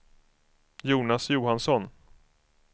Jonas Johansson